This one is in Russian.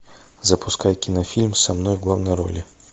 запускай кинофильм со мной в главной роли